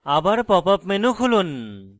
আবার pop up menu খুলুন